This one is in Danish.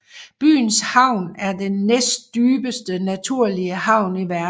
Byens havn er den næstdybeste naturlige havn i verden